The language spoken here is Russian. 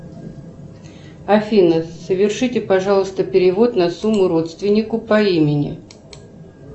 афина совершите пожалуйста перевод на сумму родственнику по имени